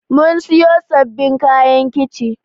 Mun siyo sabbin kayan kici